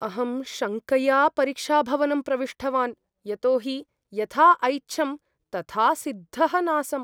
अहं शङ्कया परीक्षाभवनं प्रविष्टवान्, यतो हि यथा ऐच्छं तथा सिद्धः नासम्।